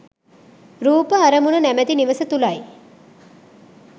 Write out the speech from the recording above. රූප අරමුණ නැමැති නිවස තුළයි.